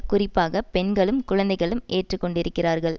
குறிப்பாக பெண்களும் குழந்தைகளும் ஏற்றுக்கொண்டிருக்கிறார்கள்